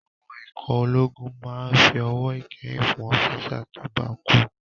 Àwọn ikọ̀ ológun máa n fi ọ̀wọ̀ ìkẹyìn fún ọ́físà tó bá kú